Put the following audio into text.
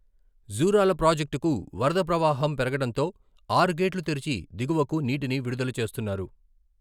జూరాల ప్రాజెక్టుకు వరద ప్రవాహం పెరగడంతో ఆరు గేట్లు తెరిచి దిగువకు నీటిని విడుదల చేస్తున్నారు.